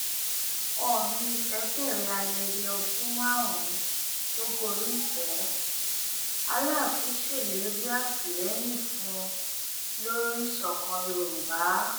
oòní ìfẹ bẹrẹ ayẹyẹ ọdún márùnún tó gorí ìtẹ aláàfin ṣèlérí àtìlẹyìn fún un lórí ìṣọkan yorùbá